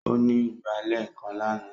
Ó ní ìgbálẹ̀ kan lánàá.